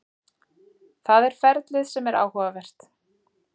Það er ferlið sem er áhugavert.